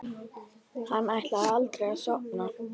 Hann ætlaði aldrei að sofna.